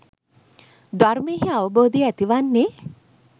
ධර්මයෙහි අවබෝධය ඇති වන්නේ